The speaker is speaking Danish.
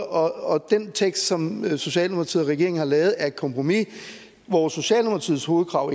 og den tekst som socialdemokratiet og regeringen har lavet er et kompromis hvor socialdemokratiets hovedkrav